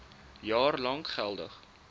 jaar lank geldig